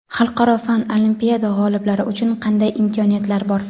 Xalqaro fan olimpiada g‘oliblari uchun qanday imkoniyatlar bor?.